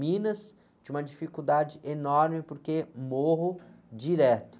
Minas tinha uma dificuldade enorme porque morro direto.